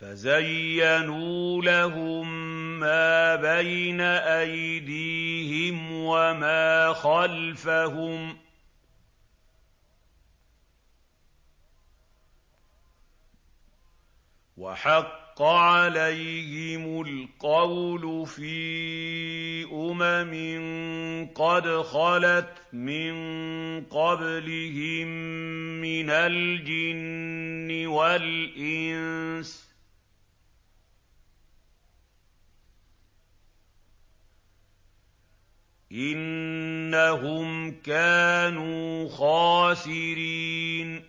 فَزَيَّنُوا لَهُم مَّا بَيْنَ أَيْدِيهِمْ وَمَا خَلْفَهُمْ وَحَقَّ عَلَيْهِمُ الْقَوْلُ فِي أُمَمٍ قَدْ خَلَتْ مِن قَبْلِهِم مِّنَ الْجِنِّ وَالْإِنسِ ۖ إِنَّهُمْ كَانُوا خَاسِرِينَ